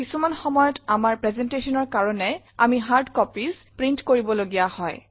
কিছুমান সময়ত আমাৰ presentationৰ কাৰণে আমি হাৰ্ড কপিজ প্ৰিণ্ট কৰিব লগীয়া হয়